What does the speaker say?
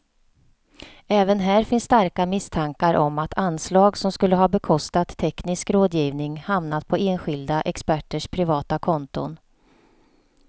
Även här finns starka misstankar om att anslag som skulle ha bekostat teknisk rådgivning hamnat på enskilda experters privata konton.